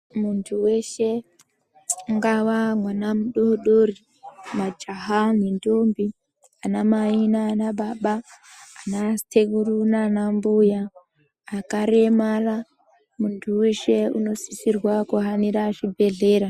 Muntu weshe ungawa mwana mudori-dori, majaha nendombi, anamai nanababa, anasekuru nanambuya, akaremara muntu weshe unosisirwa kuhanira zvibhedhlera.